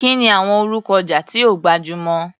Kí ni àwọn orúkọ ọjà tí ó gbajúmọ̀?